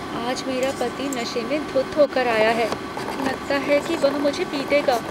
आज मेरा पति नशे में धुत हो कर आया है। लगता है कि वह मुझे पीटेगा।